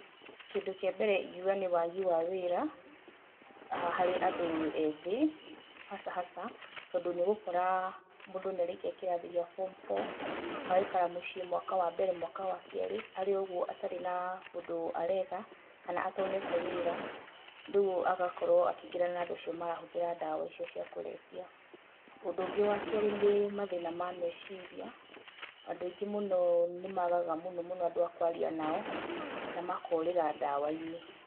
Kĩndũ kĩa mbere ingiuga nĩ wagi wa wĩra harĩ andũ ethĩ hasa hasa. Tondũ niũgũkora mũndu nĩarĩkia kĩrathi kĩa form four agaikara mũciĩ mwaka wa mbere, mwaka wa kerĩ arĩ o ũguo ataĩ na ũndũ areka kana atonete wĩra, rĩu agakorwo akĩingĩrana na andũ acio marahũthĩra ndawa icio cia kũrebia. Ũndũ wa kerĩ, nĩ mathina ma meciria, andũ aingĩ mũno nĩ magaga mũno mũno andũ a kwaria nao na makorĩra ndawa-inĩ.